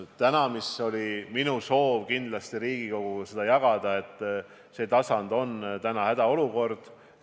Praegune tasand on – ma soovin kindlasti Riigikoguga seda jagada – hädaolukord.